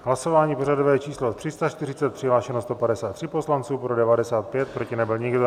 Hlasování pořadové číslo 340, přihlášeno 153 poslanců, pro 95, proti nebyl nikdo.